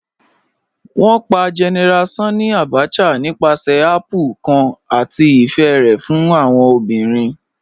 Wọn pà General Sanni Abacha nípàsẹ̀ àpplè̩̩̩̩ kan àti ifẹ̀ rẹ̀ fún awọn obìrín